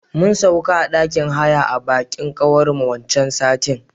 Mun sauka a ɗakin haya a bikin kawar mu waccan satin.